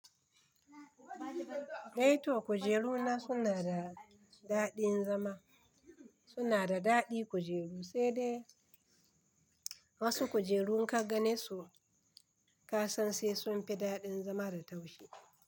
E to kujeru na suna da daɗin zama, suna da daɗin kujeru sai dai wasu kujeru in ka gane su ka san sai sun fi daɗin zama da taushi.